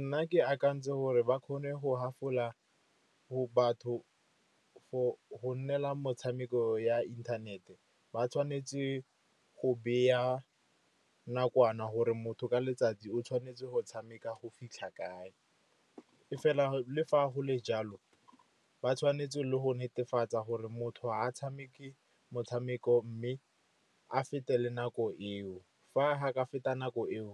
Nna ke akantse gore ba kgone go half-ola batho go nnela motshameko ya inthanete. Ba tshwanetse go beya nakwana gore motho ka letsatsi o tshwanetse go tshameka go fitlha kae. E fela le fa go le jalo, ba tshwanetse go netefatsa gore motho ga a tshameke motshameko mme a fete le nako eo. Fa a ka feta nako eo,